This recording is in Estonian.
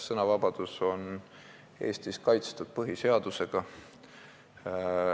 Sõnavabadus on Eestis kaitstud põhiseadusega.